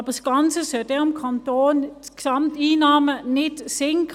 Aber das Ganze soll dann die Gesamteinnahmen des Kantons nicht senken.